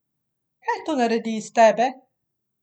Kaj to naredi iz tebe?